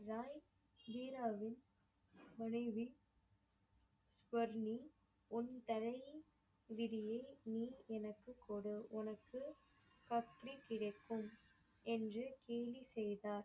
ராய் வீராவின் முடிவில் வர்ணி உன் தலையின் விதியில் நீ எனக்கு கொடு உனக்கு பக்தி கிடைக்கும் என்று கேலி செய்தார்.